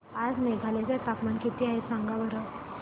आज मेघालय चे तापमान किती आहे सांगा बरं